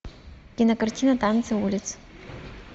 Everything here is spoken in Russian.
кинокартина танцы улиц